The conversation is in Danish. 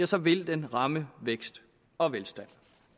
så ville den ramme vækst og velstand